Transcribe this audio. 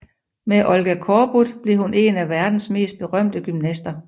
Med Olga Korbut blev hun en af verdens mest berømte gymnaster